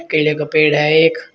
केले का पेड़ है एक।